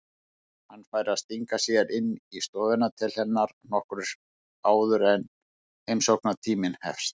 Hann fær að stinga sér inn í stofuna til hennar nokkru áður en heimsóknartíminn hefst.